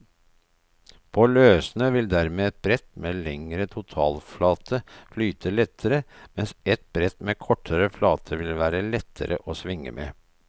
På løssnø vil dermed et brett med lengre totalflate flyte lettere, mens et brett med kortere flate vil være lettere å svinge med.